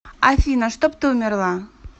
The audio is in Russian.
афина чтоб ты умерла